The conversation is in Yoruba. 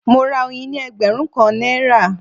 Mo ra oyin ní ẹgbẹ̀rún kan náírà